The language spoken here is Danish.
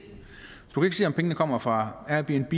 du kan ikke se om pengene kommer fra airbnb